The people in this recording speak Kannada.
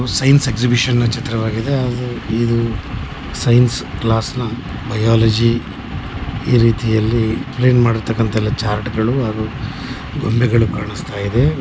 ಇದು ಸೈನ್ಸ್ ಎಕ್ಸಿಬಿಷನ್ ನ ಚಿತ್ರವಾಗಿದೆ ಇದು ಸೈನ್ಸ್ ಕ್ಲಾಸ್ ನ ಬಯಾಲಜಿ ಈ ರೀತಿಯಲ್ಲಿ ಕ್ಲೀನ್ ಮಾಡಿರ್ತಕ್ಕಂತ ಚಾರ್ಟ್ಗಳು ಗೊಂಬೆಗಳೆಲ್ಲಾ ಕಾಣುಸ್ತಾ ಇದೆ.